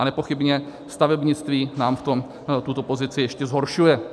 A nepochybně stavebnictví nám v tom tuto pozici ještě zhoršuje.